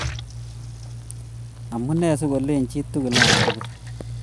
Amune si kolin chii tugul aa berber